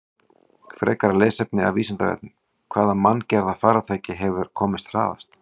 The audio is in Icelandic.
Frekara lesefni af Vísindavefnum: Hvaða manngerða farartæki hefur komist hraðast?